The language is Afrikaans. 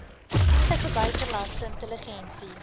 tydige buitelandse intelligensie